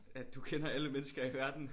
At du kender alle mennesker i verden